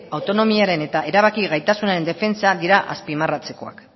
autonomiaren eta erabaki gaitasunaren defentsan dira azpimarratzekoak